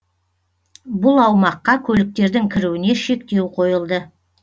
бұл аумаққа көліктердің кіруіне шектеу қойылды